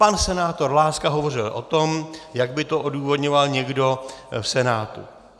Pan senátor Láska hovořil o tom, jak by to odůvodňoval někdo v Senátu.